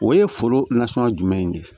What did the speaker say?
O ye foro nasɔngɔ jumɛn de ye